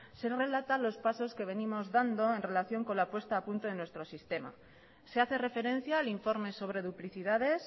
se relatan los pasos que venimos dando en relación con la puesta a punto en nuestro sistema se hace referencia al informe sobre duplicidades